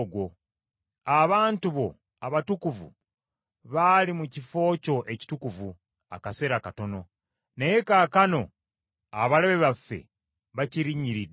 Abantu bo abatukuvu baali mu kifo kyo ekitukuvu akaseera katono, naye kaakano abalabe baffe bakirinnyiridde.